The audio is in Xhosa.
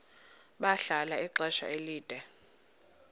bahlala ixesha elide